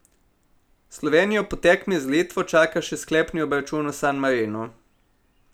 Slovenijo po tekmi z Litvo čaka še sklepni obračun v San Marinu.